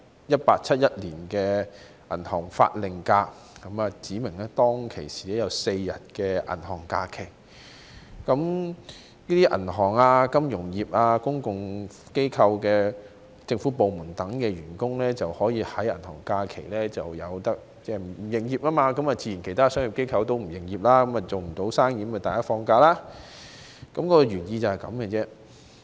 《1871年銀行假期法令》指明有4天銀行假期，銀行、金融業、公共機構及政府部門等在銀行假期不會營業，其他商業機構自然也不會營業，無法做生意，於是所有員工放假，這就是原意。